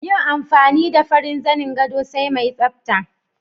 Yin amfani da farin zanin gado sai mai tsafta